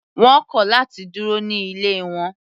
Wọ́n kọ̀ láti dúró ní ilé wọn.